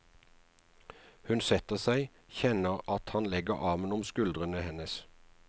Hun setter seg, kjenner at han legger armen om skuldrene hennes.